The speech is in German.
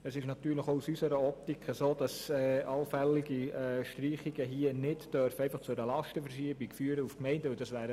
Es trifft natürlich auch aus unserer Optik zu, dass allfällige Streichungen nicht zu einer Lastenverschiebung zu den Gemeinden führen dürfen.